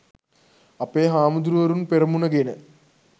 අපේ හාමුදුරුවරුන් පෙරමුණ ගෙන